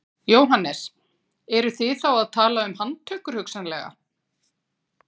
Jóhannes: Eruð þið þá að tala um handtökur hugsanlega?